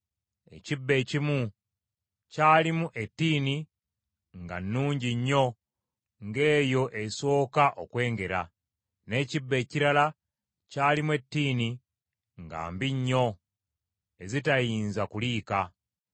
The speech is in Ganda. Ekibbo ekimu kyalimu ettiini nga nnungi nnyo ng’eyo esooka okwengera, n’ekibbo ekirala kyalimu ettiini nga mbi nnyo, ezitayinza kuliika.